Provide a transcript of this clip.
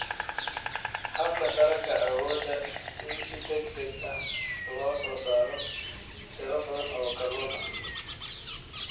Habka Taranka Awoodda in si degdeg ah loo soo saaro tiro badan oo kalluun ah.